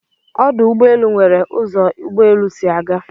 Ọdụ̀ Ụgbọelụ n̄were ụzo ụ́gbọélụ́ sị aga